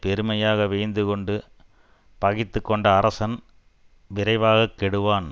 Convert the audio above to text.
பெருமையாக வியந்து கொண்டு பகைத்து கொண்ட அரசன் விரைவாக கெடுவான்